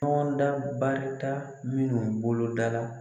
Tɔnda barita minnu bolodala